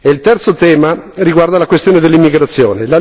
Il terzo tema riguarda la questione dell'immigrazione.